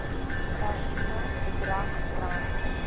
personeel bedrag rand